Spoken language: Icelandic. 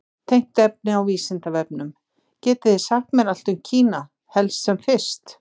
Tengt efni á Vísindavefnum: Getið þið sagt mér allt um Kína, helst sem fyrst?